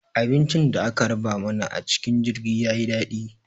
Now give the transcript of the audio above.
Abincin da aka raba mana a cikin jirgin ya yi daɗi.